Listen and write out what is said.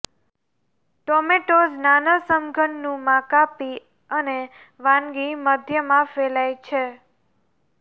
tomatoes નાના સમઘનનું માં કાપી અને વાનગી મધ્યમાં ફેલાય છે